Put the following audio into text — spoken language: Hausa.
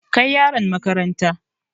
Kai yaron makaranta!